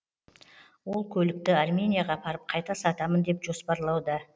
ол көлікті арменияға апарып қайта сатамын деп жоспарлауда